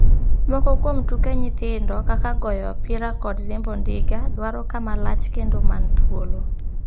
Moko kuom tuke nyithindo, kaka goyo opira kod riembo ndiga, dwaro kama lach kendo man thuolo.